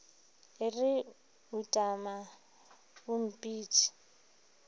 e re utama o mpitše